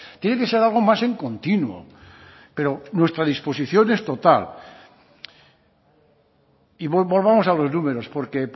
tiene que ser algo más en continuo pero nuestra disposición es total y volvamos a los números porque